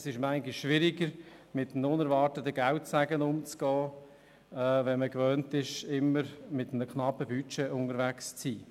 Es ist manchmal schwierig, mit einem unerwarteten Geldsegen umzugehen, wenn man sich gewohnt ist, immer mit einem knappen Budget unterwegs zu sein.